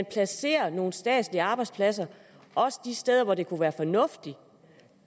placerer nogle statslige arbejdspladser også de steder hvor det kunne være fornuftigt